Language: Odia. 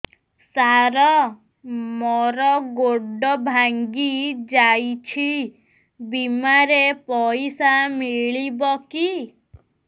ସାର ମର ଗୋଡ ଭଙ୍ଗି ଯାଇ ଛି ବିମାରେ ପଇସା ମିଳିବ କି